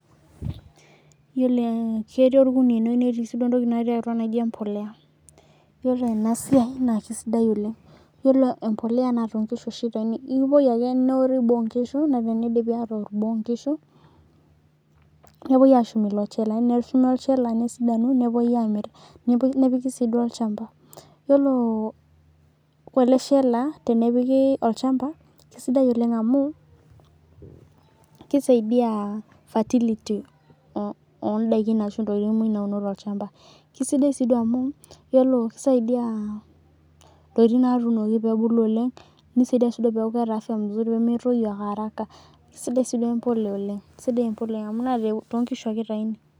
Yiolo ee ketii orkunia ene netii sii duo ntokitin natii atua naijo embolea. Yiolo ena siai naa kesidai oleng', iyiolo embolea naa too nkishu oshi itauni akipuoi ake neori boo oo nkishu nee enidii aatoor boo oo nkishu nepuoi aashum ilo chela neshumi olchala nesidanu nepuoi aamir nepiki nepiki sii duo olchamba. Yiolo ele shela tenepiki olchamba kesidai oleng' amu kisaidia ferility oo o ndaikin ashu intokitin muj nauno tolchamba, kisidai sii duo amu iyiolo kisaidia intokitin naatunoki peebulu oleng', nisadiai sii duo peeku keeta afya mzuri peemetoyu ake haraka. Kesidai sii duo embolea oleng' kesidai embolea amu too nkishu ake itayuni.